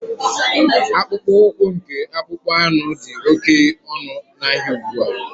Akpụkpọ ụkwụ nke akpụkpọ anụ dị oke ọnụ ahịa ugbua.